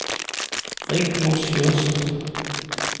Rigmor Sjursen